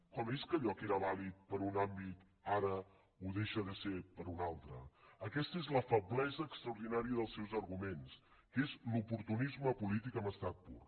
com és que allò que era vàlid per a un àmbit ara ho deixa de ser per a un altre aquesta és la feblesa extraordinària dels seus arguments que és l’oportunisme polític en estat pur